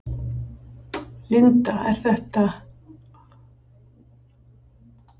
Linda: Þetta er rétt að byrja?